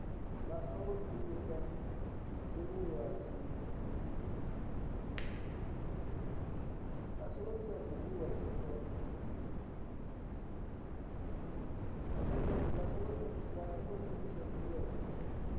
vha songo shumisa zwiliṅwa zwiswa